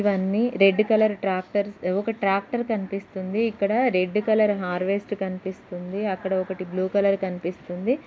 ఇవన్నీ red colour tractors . ఒక tractor కనిపిస్తుంది. ఇక్కడ రెడ్ కలర్ హార్వెస్ట్ కనిపిస్తుంది. అక్కడ ఒకటి బ్లూ కలర్ కనిపిస్తుంది.